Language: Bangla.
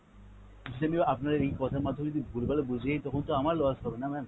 যদি আমি আপনার এই কথার মাধ্যমে যদি ভুল-ভাল বুঝে যায় তখন তো আমার loss হবে না ma'am।